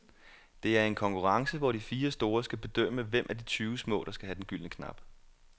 Det er i en konkurrence, hvor de fire store skal bedømme hvem af de tyve små, der skal have den gyldne knap.